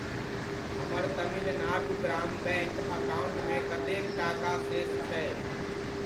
हमर तमिल नाडु ग्राम बैङ्क अकाउण्टमे कतेक टाका शेष छै?